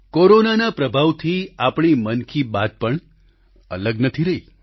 કોરોનાના પ્રભાવથી આપણી મન કી બાત પણ અલગ નથી રહી